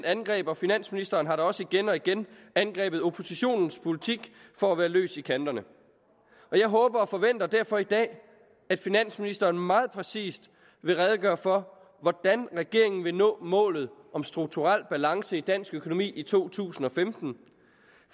angreb og finansministeren har da også igen og igen angrebet oppositionens politik for at være løs i kanterne jeg håber og forventer derfor i dag at finansministeren meget præcist vil redegøre for hvordan regeringen vil nå målet om strukturel balance i dansk økonomi i to tusind og femten